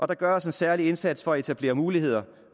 der gøres en særlig indsats for at etablere muligheder